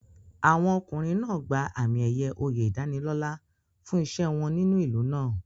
Àwọn ọkùnrin náà gba àmì-ẹ̀yẹ oyè ìdánilọ́là fún iṣẹ́ wọn nínú ìlú náà.